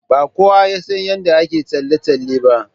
Ba kowa ya san yadda ake tsalle tsalle ba.